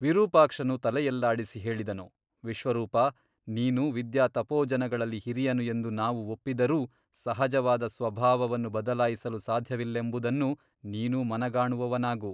ವಿರೂಪಾಕ್ಷನು ತಲೆಯಲ್ಲಾಡಿಸಿ ಹೇಳಿದನು ವಿಶ್ವರೂಪ ನೀನು ವಿದ್ಯಾ ತಪೋಜನಗಳಲ್ಲಿ ಹಿರಿಯನು ಎಂದು ನಾವು ಒಪ್ಪಿದರೂ ಸಹಜವಾದ ಸ್ವಭಾವವನ್ನು ಬದಲಾಯಿಸಲು ಸಾಧ್ಯವಿಲ್ಲೆಂಬುದನ್ನು ನೀನೂ ಮನಗಾಣುವವನಾಗು.